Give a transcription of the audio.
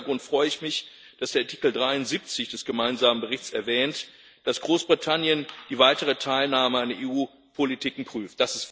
Vor diesem Hintergrund freue ich mich, dass der Artikel 73 des gemeinsamen Berichts erwähnt, dass Großbritannien die weitere Teilnahme an EU Politiken prüft.